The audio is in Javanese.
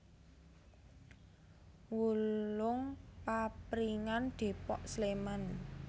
Wulung Papringan Depok Sleman